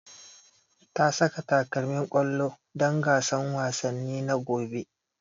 Ta saka takalmin ƙwallo don gasan wasanni na gobe